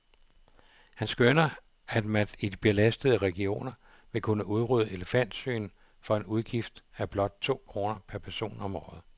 Han skønner, at man i de belastede regioner vil kunne udrydde elefantsygen for en udgift af blot tolv kroner per person om året.